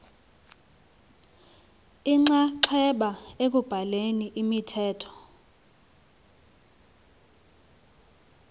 inxaxheba ekubhaleni imithetho